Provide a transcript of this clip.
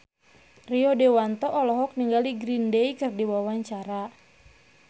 Rio Dewanto olohok ningali Green Day keur diwawancara